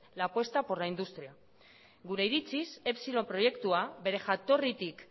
la apuesta por la industria gure iritziz epsilon proiektua bere jatorritik